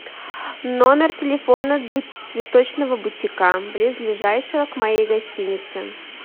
номер телефона цветочного бутика близлежащего к моей гостинице